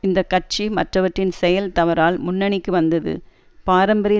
இந்த கட்சி மற்றவற்றின் செயல் தவறால் முன்னணிக்கு வந்தது பாரம்பரிய